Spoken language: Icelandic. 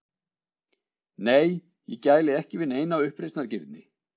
Nei, ég gæli ekki við neina uppreisnargirni.